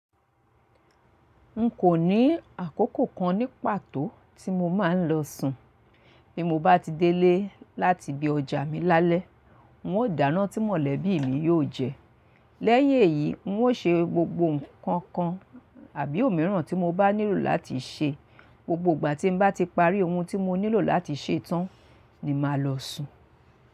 N kò ní àkókò kan ní pàtó tí mo máa ń lọ sùn. Bí mo bá ti délé láti ibi ọjà mi lálẹ́, n ó dáná tí mọ̀lẹ́bí mi yó jẹ. Lẹ́yìn èyí, n ó ṣe gbogbo nǹkan kan àbí òmíràn tí mo bá nílò láti ṣe. Gbogbo ìgbà tí n bá ti parí ohun tí mo nílò láti ṣe tán ni ma lọ sùn.